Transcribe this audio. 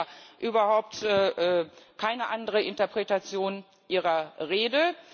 Ich sehe da überhaupt keine andere Interpretation Ihrer Rede.